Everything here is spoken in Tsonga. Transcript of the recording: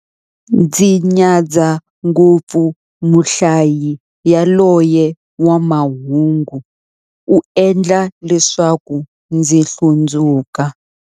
Ndzi nyadza ngopfu muhlayi yaloye wa mahungu, u endla leswaku ndzi hlundzuka.